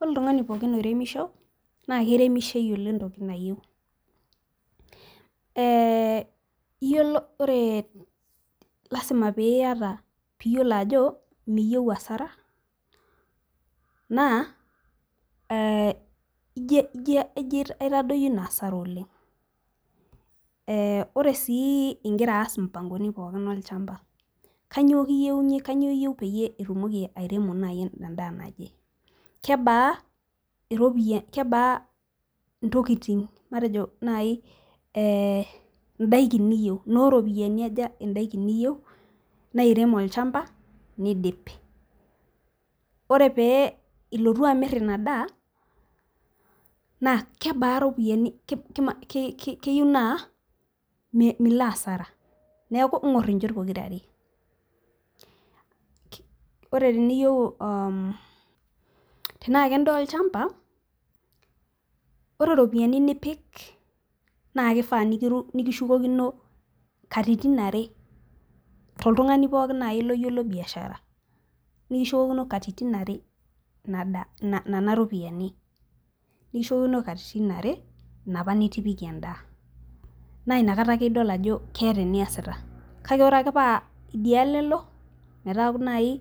Ore oltungani pookin oiremisho, naa kiremisho eyiolo entoki nayieu, ee iyiolo, ore lasima pee iyata. pee iyiolo ajo niyieu asara, naa ee ijo aitadoyio Ina asara oleng.ee ore sii igira aas imupangoni pookin olchampa, kainyioo iyieu pee itumoki naaji airemosho edaa naje, kebaa iropiyiani kebaa ntokitin matejo naaji idaikin niyieu, inooropiyiani aja idaikini niyieu nairem olchampa nidip. ore pee ilotu amir Ina daa naa kebaa. Iropiyiani.na Milo asara. neeku ing'or inchot pokira are. ore teniyieu aa tenaa kedaa olchampa, ore ropiyiani nipik naa kifaa nikishukokino katitin are, toltungani pookin naaji loyiolo biashara. nikishukokino katitin are. nena ropiyiani. nikishukokino katitin are, inapa nitipikie edaa. naa inakata ake idol ajo keeta eniasiata. kake ore paa idialo elo. metaaku naaji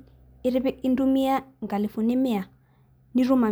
intumia nkalifuni mia. nitum.